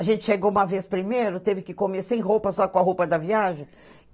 A gente chegou uma vez primeiro, teve que comer sem roupa, só com a roupa da viagem.